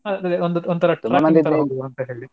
ಅಹ್ ಒಂತರಾ .